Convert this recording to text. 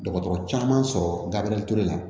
Dɔgɔtɔrɔ caman sɔrɔ gari ture la